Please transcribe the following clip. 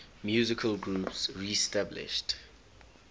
musical groups reestablished